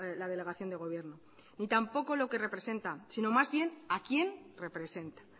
la delegación de gobierno y tampoco lo que representa sino más bien a quién representa